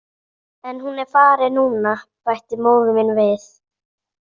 En hún er farin núna, bætti móðir mín við.